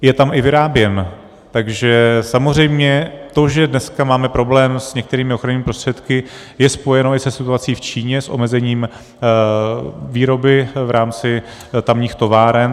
Je tam i vyráběn, takže samozřejmě to, že dneska máme problém s některými ochrannými prostředky, je spojeno i se situací v Číně, s omezením výroby v rámci tamních továren.